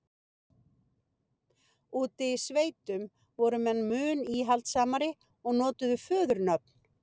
úti í sveitunum voru menn mun íhaldssamari og notuðu föðurnöfn